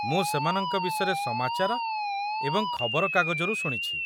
ମୁଁ ସେମାନଙ୍କ ବିଷୟରେ ସମାଚାର ଏବଂ ଖବରକାଗଜରୁ ଶୁଣିଛି